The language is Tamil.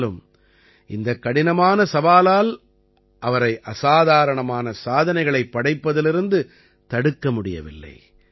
ஆனாலும் இந்தக் கடினமான சவாலால் அவரை அசாதாரணமான சாதனைகளைப் படைப்பதிலிருந்து தடுக்க முடியவில்லை